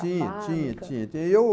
A barca... Tinha, tinha, tinha.